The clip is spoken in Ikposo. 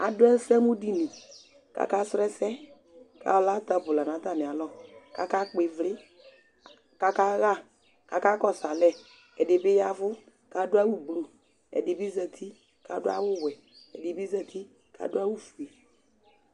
Adʋ ɛsɛmʋdini kʋ akasrɔ ɛsɛ Ala tabl nʋ atamɩalɔ kʋ akakpɔ ɩvlɩ kʋ akaɣa, kʋ akakɔsʋ alɛ Ɛdɩ bɩ ya ɛvʋ kʋ adʋ awʋblu Ɛdɩ bɩ zati kʋ adʋ awʋwɛ Ɛdɩ bɩ zati kʋ adʋ awʋfue